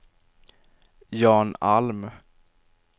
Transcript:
Jan Alm